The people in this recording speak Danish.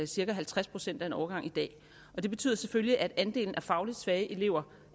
cirka halvtreds procent af en årgang i dag det betyder selvfølgelig at andelen af fagligt svage elever